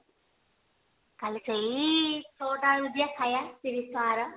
କାଲି ସେଇ ଛ ଟା ବେଳକୁ ଯିବା ଖାଇବା ତିରିଶି ଟଙ୍କାର